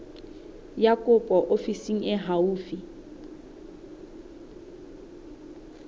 ya kopo ofising e haufi